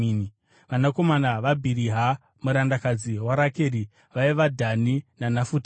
Vanakomana vaBhiriha murandakadzi waRakeri vaiva: Dhani naNafutari.